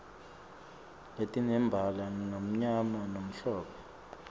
letinembala lomnyama nalomhlophe